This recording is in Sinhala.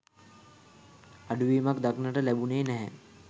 අඩුවීමක් දක්නට ලැබුනේ නැහැ.